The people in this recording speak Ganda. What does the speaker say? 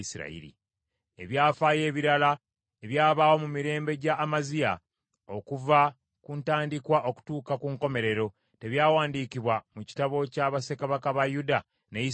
Ebyafaayo ebirala ebyabaawo mu mirembe gya Amaziya, okuva ku ntandikwa okutuuka ku nkomerero, tebyawandiikibwa mu kitabo kya bassekabaka ba Yuda ne Isirayiri?